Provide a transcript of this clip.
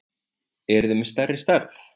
Eruð þið með stærri stærð?